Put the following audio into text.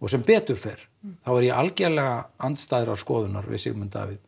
og sem betur fer þá er ég algerlega andstæðrar skoðunar við Sigmund Davíð